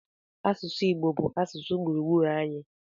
Asụsụ Igbo bụ asụsụ gburugburu anyị.